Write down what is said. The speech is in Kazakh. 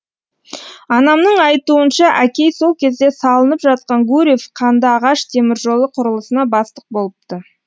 анамның айтуынша әкей сол кезде салынып жатқан гурьев қандыағаш теміржолы құрылысына бастық болыпты